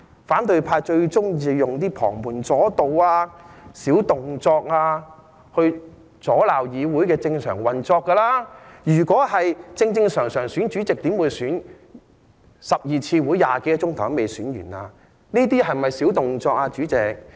反對派最喜歡用旁門左道、小動作來阻攔議會的正常運作，如果根據正常程序選內會主席，怎會召開了12次會議、用了20多小時，也未能選出內會正副主席？